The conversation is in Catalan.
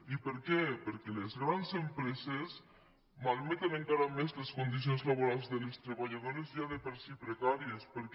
i per què perquè les grans empreses malmeten encara més les condicions laborals de les treballadores ja de per si precàries perquè